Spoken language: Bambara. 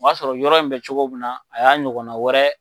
O y'a sɔrɔ yɔrɔ in be cogo min na o y'a ɲɔgɔnna wɛrɛ